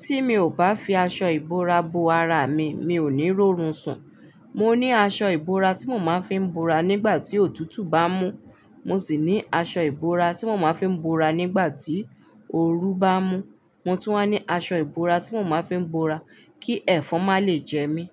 Tí mi ò bá fi aṣọ ìbora bo ara mi, mi ò ní rí orun sùn. Mo ní aṣọ ìbora tí mo máa ń fi bora nígbà tí òtútù bá mú, mo sì ní aṣọ ìbora tí mo máa ń fi bora nígbà tí ooru bá mú, mo tún máa ń ní aṣọ ìbora tí mo máa ń fi bora kí ẹ̀fọn má lè jẹ mí.